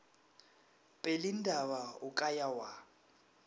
pelindaba o ka ya wa